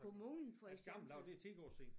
Kommunen for eksempel